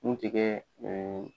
Mun tɛ kɛ ɛɛ